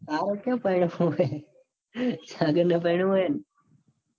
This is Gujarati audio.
તારે ક્યાં પરણવું હે. સાગર ને પરણવું હે ન